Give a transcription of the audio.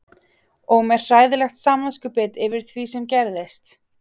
Og með hræðilegt samviskubit yfir því sem gerðist.